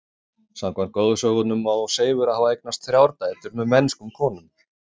Samkvæmt goðsögunum á Seifur að hafa eignast þrjár dætur með mennskum konum.